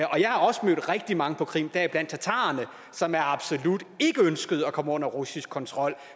og jeg har også mødt rigtig mange på krim deriblandt tatarerne som absolut ikke ønskede at komme under russisk kontrol